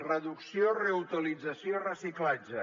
reducció reutilització i reciclatge